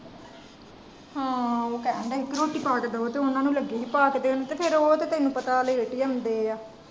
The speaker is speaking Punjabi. ਹਾਂ ਉਹ ਕਹਿਣ ਡਾਏ ਸੀ ਕ ਰੋਟੀ ਪਾ ਕ ਦੋ ਤੇ ਫੇਰ ਓਹਨਾ ਨੂੰ ਲੱਗੀ ਸੀ ਪਾ ਕ ਦੇਣ ਤੇ ਫੇਰ ਉਹ ਤੇ ਤੈਨੂੰ ਪਤਾ ਏ ਲਾਟ ਹੀ ਆਉਂਦੇ ਆ।